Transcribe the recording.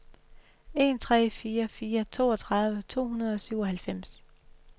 en tre fire fire toogtredive to hundrede og syvoghalvfems